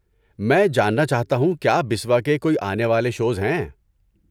میں جاننا چاہتا ہوں کیا بسوا کے کوئی آنے والے شوز ہیں؟